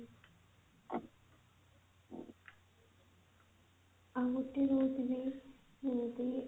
ଆଉ ଗୋଟେ ରେ ବି ଯେମିତି